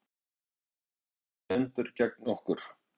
Öll veröldin stendur gegn okkur.